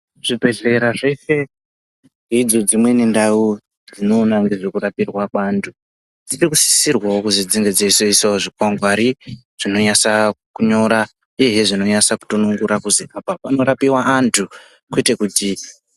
Zvibhedhlera zveshe, ndidzo dzimweni ndau dzinoona nezvekurapirwa kweantu. Dzinosisirwawo kuzwi dzinge dzeizoiswawo zvikwangwari ,zvinonyanasa kunyora uyezve zvinonasa kutonyongorwa kuti apa panotorapiwa antu kwete kuti..